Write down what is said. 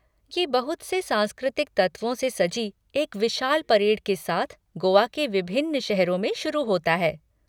ये बहुत से सांस्कृतिक तत्वों से सजी एक विशाल परेड के साथ गोआ के विभिन्न शहरों में शुरू होता है।